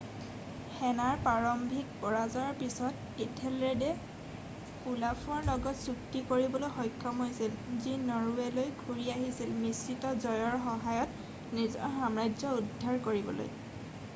সেনাৰ প্ৰাৰম্ভিক পৰাজয়ৰ পিছত ইঠেলৰেডে ওলাফৰ লগত চুক্তি কৰিবলৈ সক্ষম হৈছিল যি নৰৱেলৈ ঘূৰি আহিছিল মিশ্ৰিত জয়ৰ সহায়ত নিজৰ সাম্ৰাজ্য উদ্ধাৰ কৰিবলৈ